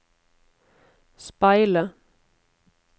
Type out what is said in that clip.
speile